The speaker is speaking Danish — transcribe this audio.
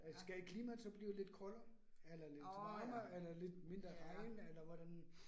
Øh skal klimaet så blive lidt koldere eller lidt varmere eller lidt mindre regn eller hvordan?